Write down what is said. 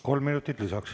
Kolm minutit lisaks.